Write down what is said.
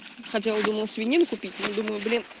хотела думала свинины купить но думаю блин